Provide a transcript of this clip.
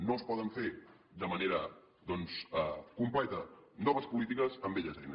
no es poden fer de manera doncs completa noves polítiques amb velles eines